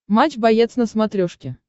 матч боец на смотрешке